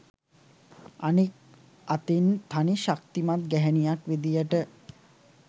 අනිත් අතින් තනි ශක්තිමත් ගැහැනියක් විදියට